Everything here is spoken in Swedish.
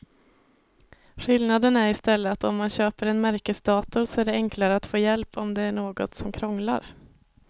Skillnaden är i stället att om man köper en märkesdator så är det enklare att få hjälp om det är något som krånglar.